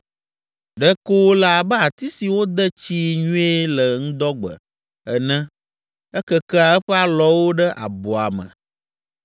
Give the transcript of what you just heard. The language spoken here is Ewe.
Ɖeko wòle abe ati si wode tsii nyuie le ŋdɔgbe ene ekekea eƒe alɔwo ɖe abɔa me,